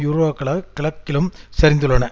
யூராக்களாகக் கிழக்கிலும் சரிந்துள்ளன